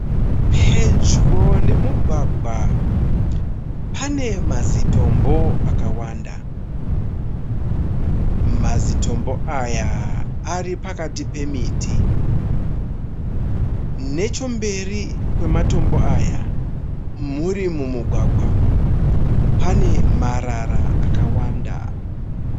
Pedyo nomugwagwa pane mazitombo akawanda. Mazitombo aya ari pakati pemiti. Nechemberi kwamatombo aya, muri mumugwagwa, pane marara akawanda.